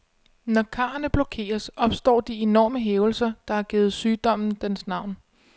Når karrene blokeres, opstår de enorme hævelser, der har givet sygdommen dens navn.